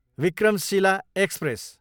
Vikramshila express